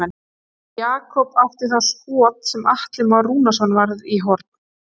Jakob átti þá skot sem Atli Már Rúnarsson varði í horn.